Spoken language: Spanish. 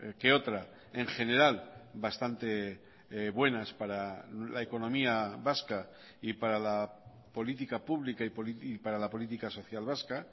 que otra en general bastante buenas para la economía vasca y para la política pública y para la política social vasca